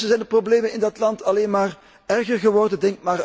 En ondertussen zijn de problemen in dat land alleen maar erger geworden